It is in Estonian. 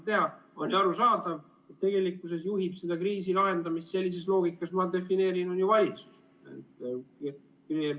Siis on ju arusaadav, et tegelikkuses juhib seda kriisi lahendamist sellises loogikas, ma defineerin, valitsus.